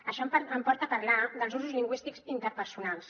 això em porta a parlar dels usos lingüístics interpersonals